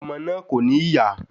Ọmọ náà kò ní ìyá